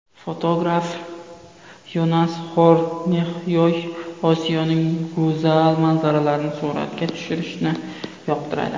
Fotograf Yonas Xornexyoy Osiyoning go‘zal manzaralarini suratga tushirishni yoqtiradi.